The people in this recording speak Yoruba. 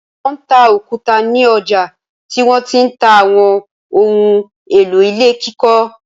Wọ́n ta òkúta ní ọjà tí wọ́n ti ń ta àwọn ohun-èlò ilé kíkọ́.